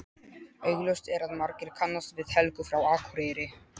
Augljóst er að margir kannast við Helgu frá Akureyri.